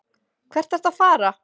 Hvert ertu að fara?